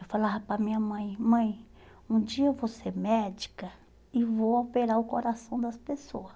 Eu falava para minha mãe, mãe, um dia eu vou ser médica e vou operar o coração das pessoas.